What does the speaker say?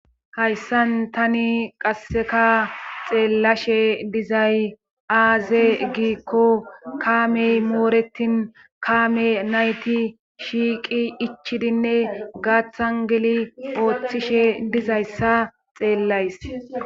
hayssan tani qasseka xeellashe dizay aaze giikko kaamey mooretin kaame nayti shiiqi ichidinne gaathan geli ooththishe dizayssa xeellays